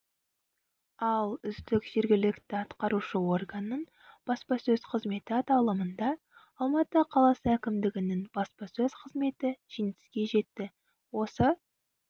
ал үздік жергілікті атқарушы органның баспасөз қызметі аталымында алматы қаласы әкімдігінің баспасөз қызметі жеңіске жетті осы